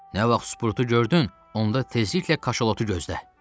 Nə vaxt Sprutu gördün, onda tezliklə kaşalotu gözlə.